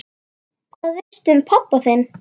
Hvað veistu um pabba þinn?